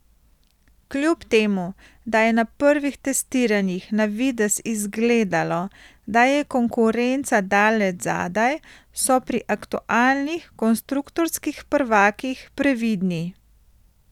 Kljub temu, da je na prvih testiranjih na videz izgledalo, da je konkurenca daleč zadaj, so pri aktualnih konstruktorskih prvakih previdni.